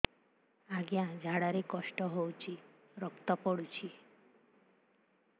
ଅଜ୍ଞା ଝାଡା ରେ କଷ୍ଟ ହଉଚି ରକ୍ତ ପଡୁଛି